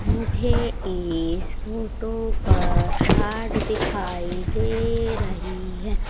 मुझे इस फोटो पर रॉड दिखाई दे रही--